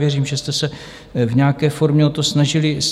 Věřím, že jste se v nějaké formě o to snažili i vy.